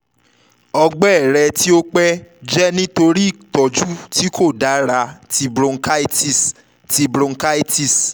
ọgbẹ rẹ ti o pẹ jẹ nitori itọju ti ko dara ti bronchitis ti bronchitis